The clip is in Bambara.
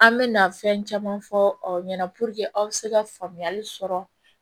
An mɛna fɛn caman fɔ aw ɲɛna aw be se ka faamuyali sɔrɔ